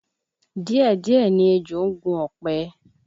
Díẹ̀díẹ̀ ni ejò ń gun ọ̀pẹ